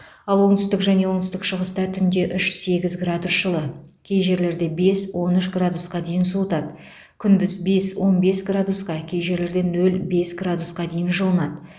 ал оңтүстік және оңтүстік шығыста түнде үш сегіз градус жылы кей жерлерде бес он үш градусқа дейін күн суытады күндіз бес он бес градусқа кей жерлерде нөл бес градусқа дейін жылынады